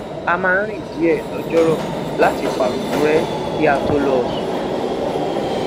a máa ń rìn díè lojoro láti paronu re kí a tó lọ sùn